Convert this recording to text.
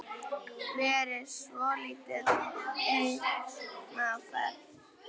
Verið svolítið einn á ferð?